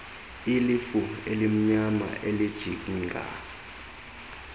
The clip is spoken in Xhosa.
ilifu elimnyama elijinga